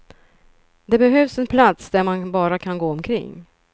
Det behövs en plats där man bara kan gå omkring.